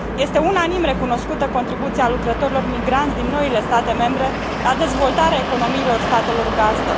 Este unanim recunoscută contribuția lucrătorilor migranți din noile state membre la dezvoltarea economiilor statelor gazdă.